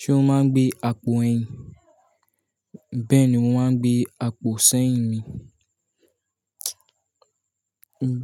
Ṣé mo máa ń gbé àpò ẹyin? Bẹ́ẹ̀ ni wọ́n máa ń gbé àpò sẹ́yìn mi.